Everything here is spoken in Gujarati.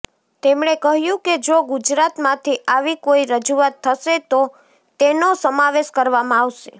તેમણે કહ્યું કે જો ગુજરાતમાંથી આવી કોઇ રજૂઆત થશે તો તેનો સમાવેશ કરવામાં આવશે